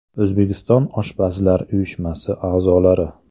O‘zbekiston oshpazlar uyushmasi a’zolari.